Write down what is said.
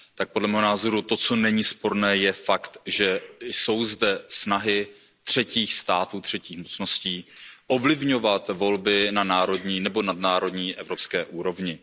Podle mého názoru to, co není sporné, je fakt, že jsou zde snahy třetích států, třetích mocností, ovlivňovat volby na národní nebo nadnárodní, evropské úrovni.